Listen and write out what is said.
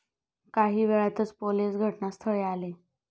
काही वेळातच पोलीस घटनास्थळी आले.